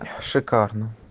шикарно